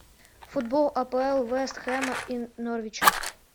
футбол апл вест хэма и норвича